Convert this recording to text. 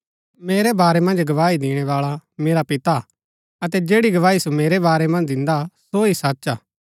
मेरै बारै मन्ज गवाही दिणैबाळा मेरा पिता हा अतै जैड़ी गवाही सो मेरै बारै मन्ज दिन्दा सो ही सच हा